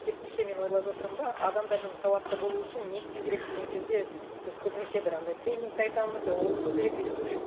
керісінше мен ойлап жатырмын да адамдардың сауатты болуы үшін не істеу керек деген кезде біз көбінесе бір андай тренингті айтамыз оқыту керек үйрету керек